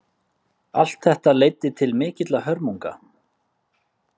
Allt þetta leiddi til mikilla hörmunga.